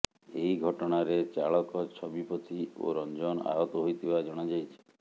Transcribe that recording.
ଏହି ଘଟଣାରେ ଚାଳକ ଛବି ପତି ଓ ରଂଜନ ଆହତ ହୋଇଥିବା ଜଣାଯାଇଛି